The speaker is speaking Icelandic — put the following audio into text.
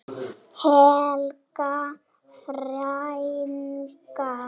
Helga frænka.